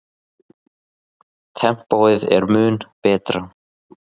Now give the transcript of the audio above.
Tempóið er mun betra.